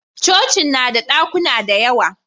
cocin na da dakuna da yawa